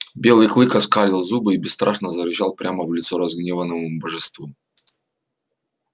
белый клык оскалил зубы и бесстрашно зарычал прямо в лицо разгневанному божеству